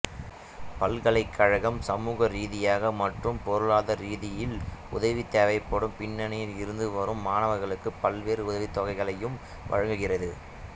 பல்கலைக்கழகம் சமூகரீதியாக மற்றும் பொருளாதாரரீதியில் உதவி தேவைப்படும் பின்னணியில் இருந்து வரும் மாணவர்களுக்கு பல்வேறு உதவித்தொகைகளையும் வழங்குகிறது